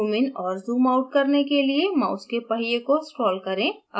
संरचना को zoom in और zoom out करने के लिए mouse के पहिये को scroll करें